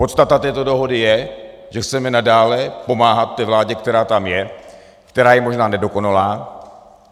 Podstata této dohody je, že chceme nadále pomáhat té vládě, která tam je, která je možná nedokonalá.